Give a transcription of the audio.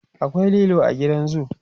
akwai lilo a gidan zoo